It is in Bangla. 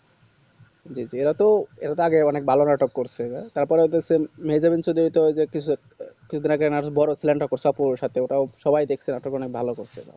জি জি এরা তো এরা আগের অনেক ভালো নাটক করসে তার পর ওদের ওই টাও যে কি সব কিছুদিন আগে নাটক তাও সবাই দেকসে এটাও ভালো করছে ওইটা